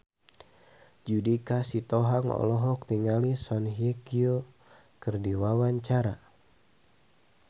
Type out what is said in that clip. Judika Sitohang olohok ningali Song Hye Kyo keur diwawancara